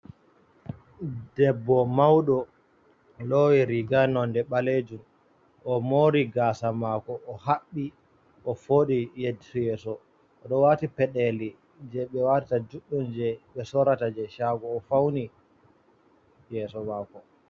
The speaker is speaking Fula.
Debbo mauɗo lowi riga nonde balejum o mori gasa mako o haɓɓi o foɗi he ɗi yeso o ɗo wati pedeli je ɓe watta juɗɗum, je be sorata je shago, o fauni yeso mako